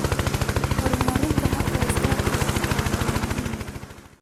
Horumarinta hababka iskaashiga dhaqaale waa muhiim.